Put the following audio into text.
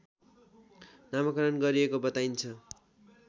नामाकरण गरिएको बताइन्छ